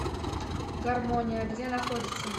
гармония где находится